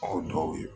Aw dɔw ye